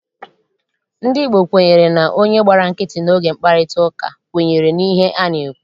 Ndị Igbo kwenyere na onye gbara nkịtị oge mkparịtaụka, kwenyere n'ihe a na-ekwu.